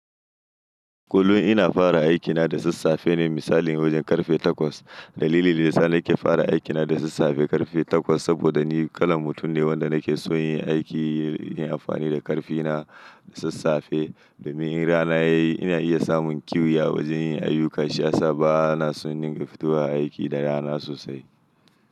Kullum ina fara aikina da sassafe ne, misali wajen karfe takwas. Dalili da yasa nake fara aikina da sassafe karfe takwas saboda ni kalan mutum ne wanda nake so yin aiki, yin amfani da karfina da sassafe. Domin in rana yayi ina iya samun kiwi a wajen yin ayuka, shi asaba ana son ninka fito a aiki da rana sosai.